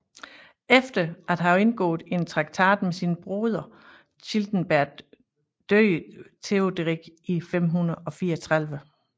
Efter at have indgået en traktat med sin broder Childebert døde Teoderik i 534